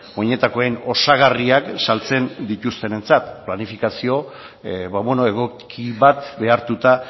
oinetakoen osagarriak saltzen dituztenentzat planifikazio egoki bat behartuta